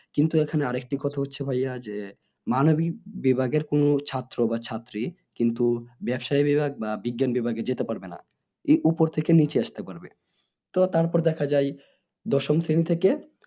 কিন্তু এখানে আর একটি কথা হচ্ছে ভাইয়া যে মানবিক বিভাগের কোনো ছাত্র বা ছাত্রী কিন্তু ব্যবসাইক বিভাগ বা বিজ্ঞান বিভাগে যেতে পারবে না উপর থেকে নিচে আসতে পারবে তো তার পর দেখা যায় দশম শ্রেণী থেকে